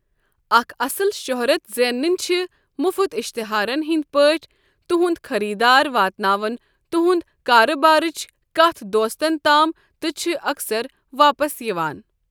اکھ اصل شہرت زینٕنۍ چھِ مُفُت اِشتِہارن ہنٛدۍ پٲٹھۍ، تُہنٛد خٔریٖدار واتناوَن تُہنٛدِ کارٕبارٕچ کتھ دوستن تام تہٕ چھِ اَکثر واپَس یِوان۔